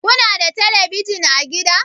Ku na da telebijin a gida?